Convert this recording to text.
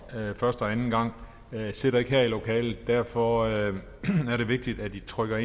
første og anden gang sidder ikke her i lokalet så derfor er det vigtigt at i trykker